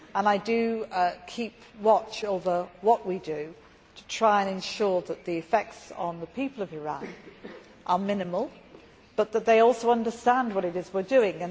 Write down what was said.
I keep watch over what we are doing, to try to ensure that the effects on the people of Iran are minimal but that they also understand what it is that we are doing.